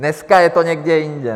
Dneska je to někde jinde.